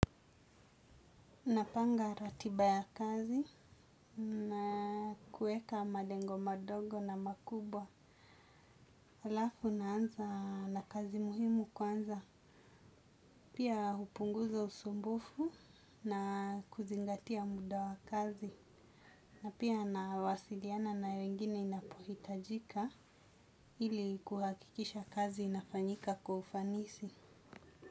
Napanga ratiba ya kazi na kuweka malengo madogo na makubwa. Halafu naanza na kazi muhimu kwanza. Pia hupunguza usumbufu na kuzingatia muda wa kazi. Na pia nawasiliana na wengine inapohitajika ili kuhakikisha kazi inafanyika kwa ufanisi.